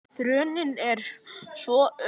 Þróunin er svo ör.